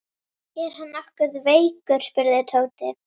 Er hann nokkuð veikur? spurði Tóti.